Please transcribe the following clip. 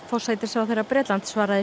forsætisráðherra Bretlands svaraði